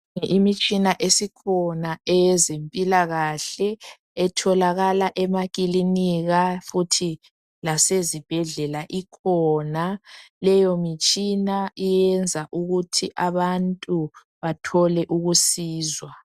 Imitshina esikhona eyezimpilakahle ,etholakala emakilinika futhi lasezibhedlela ikhona. Leyo mitshina iyenza ukuthi abantu bathole ukusizwa .